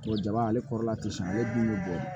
Tuba jaba ale kɔrɔla ti san ale bulu be bɔ